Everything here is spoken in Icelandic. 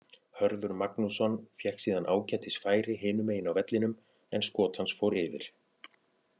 Hörður Magnússon fékk síðan ágætis færi hinu megin á vellinum en skot hans fór yfir.